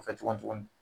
Kɔfɛ tugun tuguni